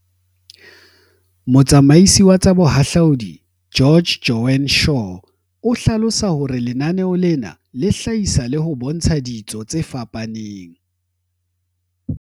Motsamaisi wa tsa Boha hlaudi George, Joan Shaw, o hlalosa hore lenaneo lena le hlahisa le ho bontsha ditso tse fapaneng.